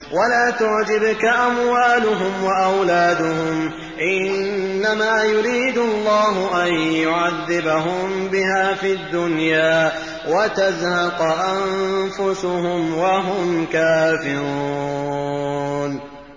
وَلَا تُعْجِبْكَ أَمْوَالُهُمْ وَأَوْلَادُهُمْ ۚ إِنَّمَا يُرِيدُ اللَّهُ أَن يُعَذِّبَهُم بِهَا فِي الدُّنْيَا وَتَزْهَقَ أَنفُسُهُمْ وَهُمْ كَافِرُونَ